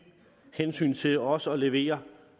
hensyn til også at levere